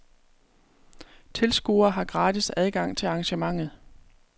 Tilskuere har gratis adgang til arrangementet.